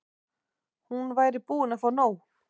Hún væri búin að fá nóg.